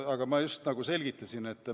Aga ma just selgitasin seda.